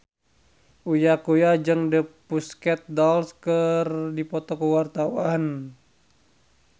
Uya Kuya jeung The Pussycat Dolls keur dipoto ku wartawan